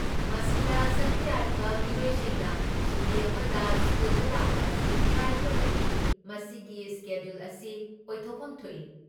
ꯃꯁꯤꯗ ꯁꯔꯨꯛ ꯌꯥꯔꯤꯕ ꯃꯤꯑꯣꯏꯁꯤꯡꯅ ꯁꯨꯇꯤ ꯑꯃꯗ ꯁ꯭ꯀꯨꯜꯗ ꯂꯥꯛꯄ ꯑꯁꯤ ꯀꯥꯏꯗ꯭ꯔꯕꯗꯤ, ꯃꯁꯤꯒꯤ ꯁ꯭ꯀꯦꯗꯨꯜ ꯑꯁꯤ ꯑꯣꯢꯊꯣꯛꯐꯝ ꯊꯣꯛꯏ꯫